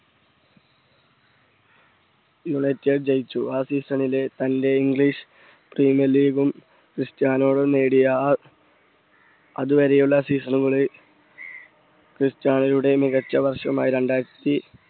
United ജയിച്ചു ആ season ലെ തൻറെ english premier league ഉം ക്രിസ്റ്റായാ നൊ നേടിയ അതുവരെയുള്ള season കളെ ക്രിസ്റ്റ്യാനോയുടെ മികച്ച വർഷമായി രണ്ടായിരത്തി